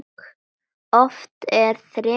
Oft er þref á þingi.